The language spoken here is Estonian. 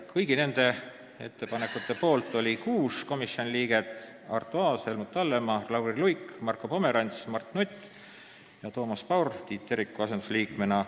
Kõigi nende ettepanekute poolt oli 6 komisjoni liiget: Arto Aas, Helmut Hallemaa, Lauri Luik, Marko Pomerants, Mart Nutt ja Toomas Paur Tiit Teriku asendusliikmena.